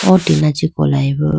o tina chee kolayi bo.